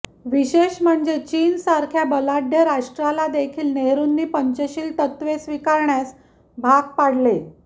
विशेष म्हणजे चीन सारख्या बलाढ्य राष्ट्राला देखील नेहरुंनी पंचशील तत्त्वे स्वीकारण्यास भाग पाडले